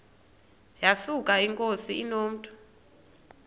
yesuka inkosi inomntu